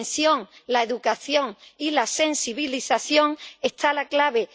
la prevención, la educación y la sensibilización está la clave.